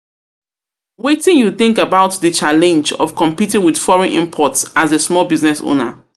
Wetin you think about di challenge of competing with foreign imports as a small business owner?